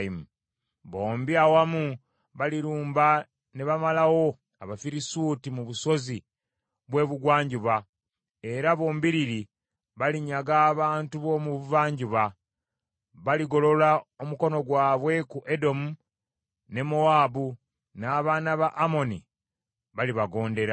Bombi awamu balirumba ne bamalawo Abafirisuuti mu busozi bw’ebugwanjuba; era bombiriri balinyaga abantu b’omu buvanjuba. Baligolola omukono gwabwe ku Edomu ne Mowaabu; n’abaana ba Amoni balibagondera.